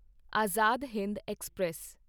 Azad Hind express